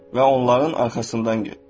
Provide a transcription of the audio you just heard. Və onların arxasından getdin.